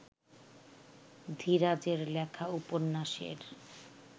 ধীরাজের লেখা উপন্যাসের